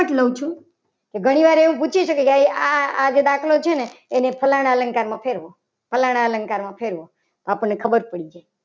એટલા માટે લઉં છુ. કે ઘણીવાર એવું પૂછી શકાય. કે આ આ જે દાખલો છે ને એને ફલન ફલાણા અલંકારમાં ફેરવો આપણને ખબર પડી જાય.